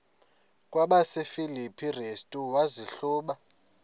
kwabasefilipi restu wazihluba